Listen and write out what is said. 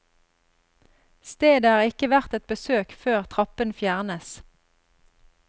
Stedet er ikke verdt et besøk før trappen fjernes.